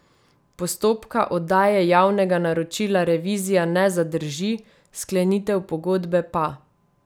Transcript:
Postopka oddaje javnega naročila revizija ne zadrži, sklenitev pogodbe pa.